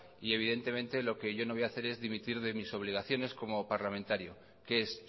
y evidentemente lo que yo no voy a hacer es dimitir de mis obligaciones como parlamentario que es